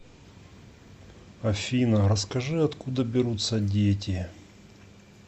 афина расскажи откуда берутся дети